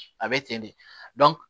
A bɛ ten de